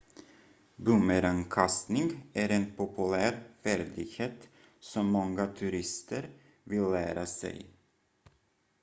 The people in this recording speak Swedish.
bumerangkastning är en populär färdighet som många turister vill lära sig